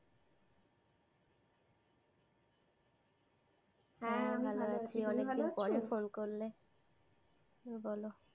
হ্যাঁ আমি ভালো আছি তুমি ভালো আছো? হ্যাঁ, অনেকদিন পরে ফোন করলে, বলো।